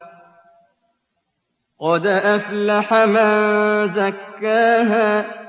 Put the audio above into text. قَدْ أَفْلَحَ مَن زَكَّاهَا